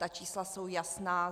Ta čísla jsou jasná.